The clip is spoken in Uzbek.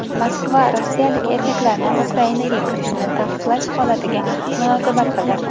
Moskva rossiyalik erkaklarni Ukrainaga kirishini taqiqlash holatiga munosabat bildirdi.